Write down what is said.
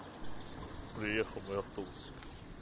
уехал мой автобус